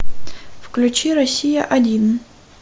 включи россия один